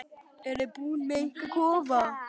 Eruð þið búnir með ykkar kofa?